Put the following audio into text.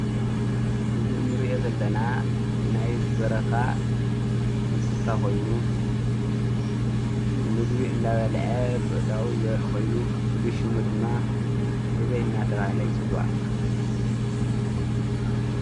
እዚ እንሪኦ ዘለና ናይ በረኻ እንስሳ ኮይኑ ምግቢ እናበልዐ ብአእዳው ዘርኢ ኮይኑ ፍሉይ ሽሙ ድማ ህበይ እናተበሃለ ይፅዋዕ።